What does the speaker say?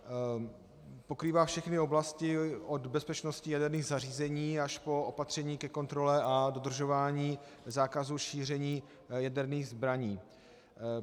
Pokrývá všechny oblasti od bezpečnosti jaderných zařízení až po opatření ke kontrole a dodržování zákazu šíření jaderných zbraní.